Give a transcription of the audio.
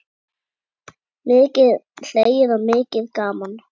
Mikið hlegið og mikið gaman.